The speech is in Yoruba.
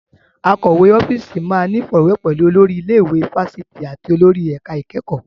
Akọ̀wé ọ́fíìsì máa ní ìfọ̀rọ̀wérọ̀ pẹ̀lú olórí ilé ìwé fáfitì àti olórí ẹ̀ka ìkẹ́kọ̀ọ́.